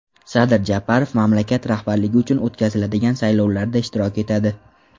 Sadir Japarov mamlakat rahbarligi uchun o‘tkaziladigan saylovlarda ishtirok etadi.